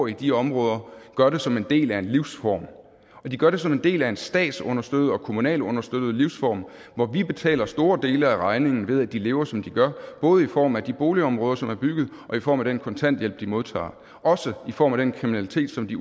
i de områder gør det som en del af en livsform og de gør det som en del af en statsunderstøttet og kommunalt understøttet livsform hvor vi betaler store dele af regningen ved at de lever som de gør både i form af de boligområder som er bygget og i form af den kontanthjælp de modtager også i form af den kriminalitet som de